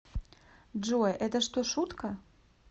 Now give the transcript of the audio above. джой это что шутка